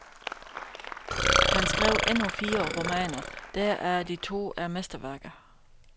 Han skrev endnu fire romaner, deraf de to er mesterværker.